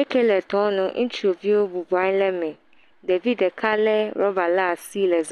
eke le tɔanu ŋutsuviwo bɔbɔ nɔ anyi ɖe eme ɖevi ɖeka rɔba ɖe asi le zɔzɔm